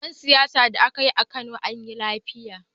Taron siyasa da aka yi a Kano anyi lafiya.